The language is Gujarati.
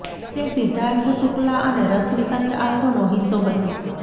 તે સિદ્ધાર્થ શુક્લા અને રશ્મિ સાથે આ શોનો હિસ્સો હતી